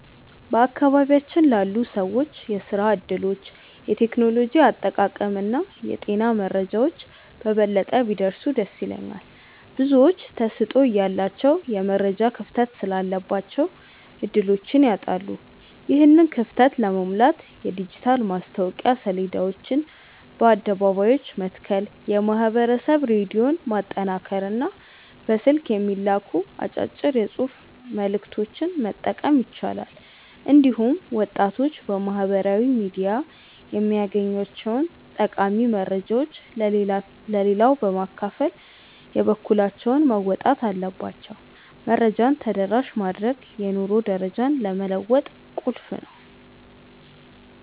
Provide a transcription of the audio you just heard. በአካባቢያችን ላሉ ሰዎች የሥራ ዕድሎች፣ የቴክኖሎጂ አጠቃቀምና የጤና መረጃዎች በበለጠ ቢደርሱ ደስ ይለኛል። ብዙዎች ተሰጥኦ እያላቸው የመረጃ ክፍተት ስላለባቸው ዕድሎችን ያጣሉ። ይህንን ክፍተት ለመሙላት የዲጂታል ማስታወቂያ ሰሌዳዎችን በአደባባዮች መትከል፣ የማኅበረሰብ ሬዲዮን ማጠናከርና በስልክ የሚላኩ አጫጭር የጽሑፍ መልዕክቶችን መጠቀም ይቻላል። እንዲሁም ወጣቶች በማኅበራዊ ሚዲያ የሚያገኟቸውን ጠቃሚ መረጃዎች ለሌላው በማካፈል የበኩላቸውን መወጣት አለባቸው። መረጃን ተደራሽ ማድረግ የኑሮ ደረጃን ለመለወጥ ቁልፍ ነው።